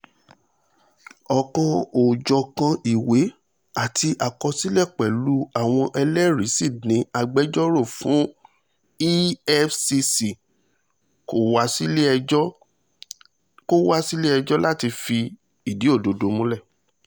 ọ̀kan-ò-jọ̀kan ìwé àti àkọsílẹ̀ pẹ̀lú àwọn ẹlẹ́rìí sí ní agbẹjọ́rò fún efcc kò wá sílẹ̀-ẹjọ́ láti fìdí òdòdó múlẹ̀